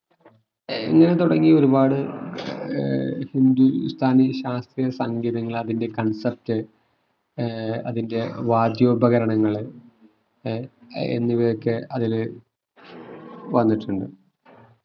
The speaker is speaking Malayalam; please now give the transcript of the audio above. എന്ന് തുടങ്ങി ഒരുപാട് ഏർ ഹിന്ദുസ്ഥാനി ശാസ്ത്രീയ സംഗീതങ്ങൾ അതിന്റെ concept ഏർ അതിന്റെ വാദ്യോപകരണങ്ങള് ഏർ ഏർ എന്നിവയൊക്കെ അതില് വന്നിട്ടുണ്ട്